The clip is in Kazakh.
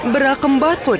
бірақ қымбат қой